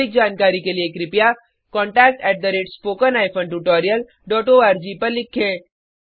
अधिक जानकारी के लिए कृपया contact at spoken hyphen tutorial dot ORG को लिखें